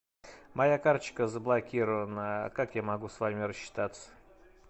моя карточка заблокирована как я могу с вами расчитаться